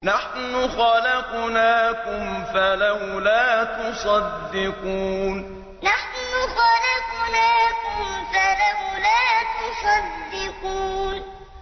نَحْنُ خَلَقْنَاكُمْ فَلَوْلَا تُصَدِّقُونَ نَحْنُ خَلَقْنَاكُمْ فَلَوْلَا تُصَدِّقُونَ